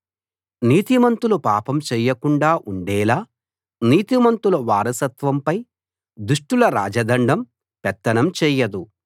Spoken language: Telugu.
నీతిమంతులు పాపం చేయకుండా ఉండేలా నీతిమంతుల వారసత్వంపై దుష్టుల రాజదండం పెత్తనం చెయ్యదు